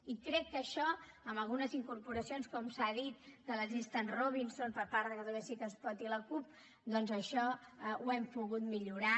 i crec que això amb algunes incorporacions com s’ha dit de les llistes robinson per part de catalunya sí que es pot i la cup doncs això ho hem pogut millorar